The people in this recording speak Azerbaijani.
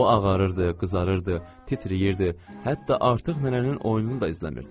O ağarırdı, qızarırdı, titrəyirdi, hətta artıq nənənin oyununu da izləmirdi.